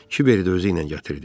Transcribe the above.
Kiberi də özüylə gətirdi.